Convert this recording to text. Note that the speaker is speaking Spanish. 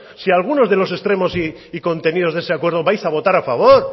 si algunos de los extremos y contenidos de ese acuerdo vais a votar a favor